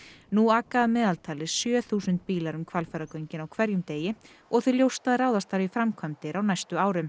nú aka að meðaltali sjö þúsund bílar um Hvalfjarðargöngin á hverjum degi og því ljóst að ráðast þarf í framkvæmdir á næstu árum